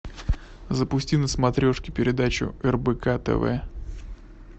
запусти на смотрешке передачу рбк тв